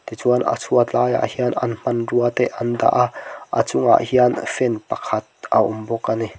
tichuan a chhuat laiah hian an hmanrua te an dah a a chungah hian fan pakhat a awm bawk a ni.